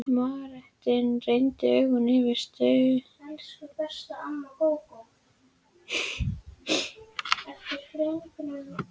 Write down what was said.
Marteinn renndi augunum yfir útskurðinn á vindskeiðum kirkjunnar.